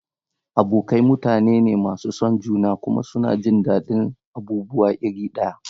Abokai mutane ne masu son juna kuma suna jin daɗin abubuwa iri ɗaya.